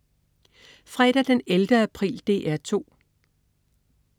Fredag den 11. april - DR 2: